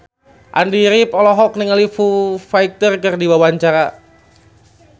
Andy rif olohok ningali Foo Fighter keur diwawancara